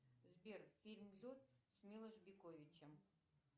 сбер фильм лед с милош биковичем